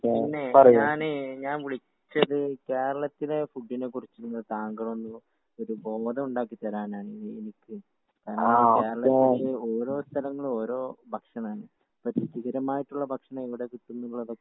പിന്നെ ഞാന് ഞാൻ വിളിച്ചത് കേരളത്തിലെ ഫുഡിനെ കുറിച്ച് താങ്കളൊന്ന് ഒരു ബോധം ഉണ്ടാക്കി തരാനാണ് ഞാൻ വിളിച്ചത്. . കേരളത്തില് ഓരോ സ്ഥലങ്ങളിൽ ഓരോ ഭക്ഷണാണ്.അപ്പൊ രുചികരമായിട്ടുള്ള ഭക്ഷണം എവിടെ കിട്ടുന്നുള്ളതൊക്കെ